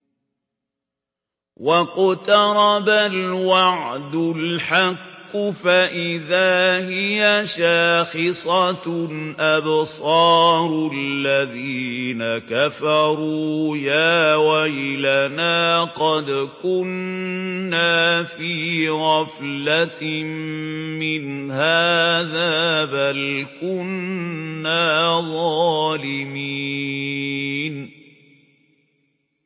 وَاقْتَرَبَ الْوَعْدُ الْحَقُّ فَإِذَا هِيَ شَاخِصَةٌ أَبْصَارُ الَّذِينَ كَفَرُوا يَا وَيْلَنَا قَدْ كُنَّا فِي غَفْلَةٍ مِّنْ هَٰذَا بَلْ كُنَّا ظَالِمِينَ